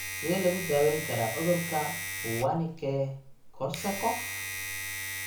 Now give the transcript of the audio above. Sidee lagu daweyn karaa cudurka Wernicke Korsakoff?